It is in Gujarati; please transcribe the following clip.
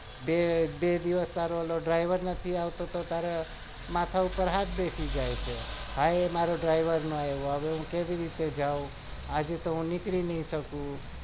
બે દિવસ તારો driver નથી આવતો તો તારા માથા પર હાથ બેસી જાય છે આજે તો હું નીકળી નહિ શકું